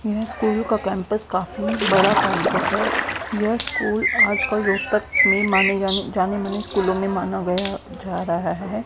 यह स्कूल का कैंपस काफी बड़ा कैंपस है यह स्कूल आज कल रोहतक में माने जाने जाने माने स्कूल में माना गया जा रहा है।